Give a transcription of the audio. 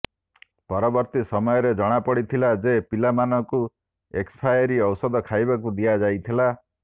ପରବର୍ତ୍ତୀ ସମୟରେ ଜଣାପଡିଥିଲା ଯେ ପିଲାମାନଙ୍କୁ ଏକ୍ସପାଏରୀ ଔଷଧ ଖାଇବାକୁ ଦିଆଯାଇଥିଲା